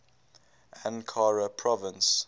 ankara province